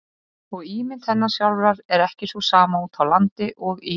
Og ímynd hennar sjálfrar er ekki sú sama úti á landi og í